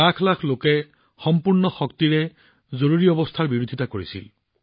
লাখ লাখ লোকে জৰুৰীকালীন অৱস্থাৰ তীব্ৰ বিৰোধিতা কৰিছিল